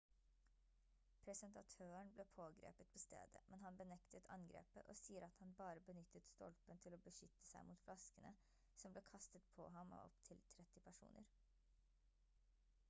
presentatøren ble pågrepet på stedet men han benektet angrepet og sier at han bare benyttet stolpen til å beskytte seg mot flaskene som ble kastet på ham av opptil 30 personer